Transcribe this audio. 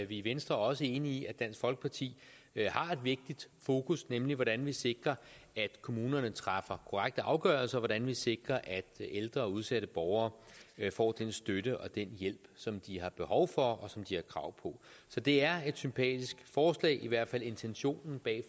i venstre også enige i at dansk folkeparti har et vigtigt fokus nemlig hvordan vi sikrer at kommunerne træffer korrekte afgørelser hvordan vi sikrer at ældre og udsatte borgere får den støtte og den hjælp som de har behov for og som de har krav på så det er et sympatisk forslag i hvert fald intentionen bag